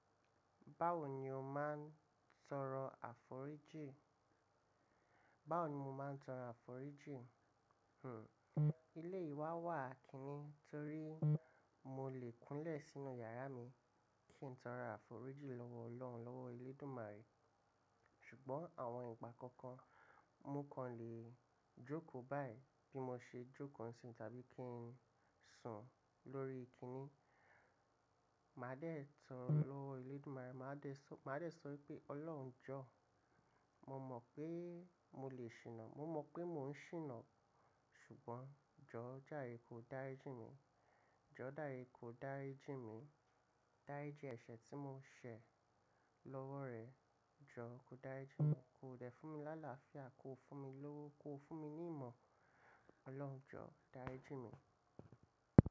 Báwo ni o máa ń tọrọ àforíjì? Báwo ni mo máa ń tọrọ àforíjì? Hmm I eleyi wa wà kinni torí mo lè kúnlẹ̀ sínú yàrá mi kí n tọrọ àforíjì lọ́wọ́ Ọlọ́run lọ́wọ́ Elédùmarè. Ṣùgbọ́n àwọn ìgbà kọ̀ọ̀kan, mo kàn lè jókòó báyìí bí mo ṣe jókòó ńsìn tàbí kí n sùn lórí kíni. Màá dẹ̀ ẹ́ toro lọ́wọ́ Elédùmarè. Màá dẹ̀ sọ pé Ọlọ́run Jọ̀ọ́, mo mọ̀ pé mo lè ṣìnà, mo mọ̀ pé mò ń ṣìnà, ṣùgbọ́n Jọ̀ọ́ járe kò dárí jí mi. Jọ̀ọ́ dàre kò dárí jí mi. Dárí ji ẹ̀ṣẹ̀ tí mo ṣẹ̀ lọ́wọ́ rẹ. Jọ̀ọ́ kò dárí jí mi. Kò dẹ̀ fún mi láláfíà kò fún mi lówó, kò fún mi ní ìmọ̀. Ọlọ́run Jọ̀ọ́ dàri jí mi.